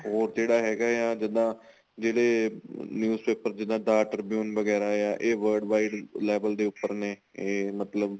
ਹੋਰ ਜਿਹੜਾ ਹੈਗਾ ਆ ਜਿਦਾਂ ਜਿਹੜੇ news paper ਜਿੱਦਾਂ the tribune ਵਗੈਰਾ ਆ ਇਹ world wide level ਦੇ ਉਪਰ ਨੇ ਇਹ ਮਤਲਬ